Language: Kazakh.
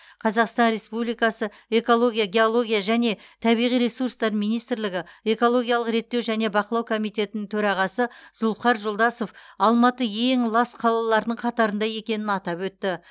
қазақстан республикасы экология геология және табиғи ресурстар министрлігі экологиялық реттеу және бақылау комитетінің төрағасы зулфухар жолдасов алматы ең лас қалалардың қатарында екенін атап өтті